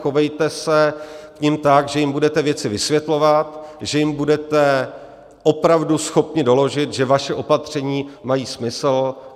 Chovejte se k nim tak, že jim budete věci vysvětlovat, že jim budete opravdu schopni doložit, že vaše opatření mají smysl.